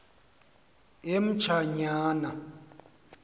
emtshanyana